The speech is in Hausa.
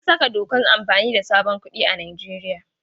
An saka dokan amfani da sabon kuɗin Nijeriya.